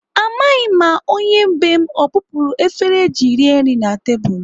Amaghị m ma onye bee m ọ bupuru efere eji rie nri na tebụl.